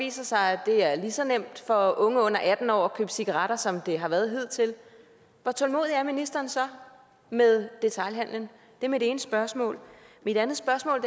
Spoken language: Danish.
viser sig at det er lige så nemt for unge under atten år at købe cigaretter som det har været hidtil hvor tålmodig er ministeren så med detailhandelen det er mit ene spørgsmål mit andet spørgsmål